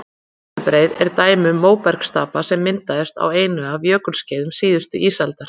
Herðubreið er dæmi um móbergsstapa sem myndaðist á einu af jökulskeiðum síðustu ísaldar.